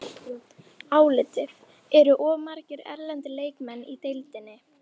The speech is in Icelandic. Álitið: Eru of margir erlendir leikmenn í deildinni?